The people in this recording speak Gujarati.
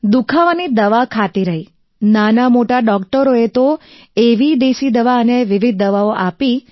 દુખાવાની દવા ખાતી રહી નાનામોટા ડોક્ટરોએ તો એવી દેશી દવા અને વિવિધ દવાઓ આપી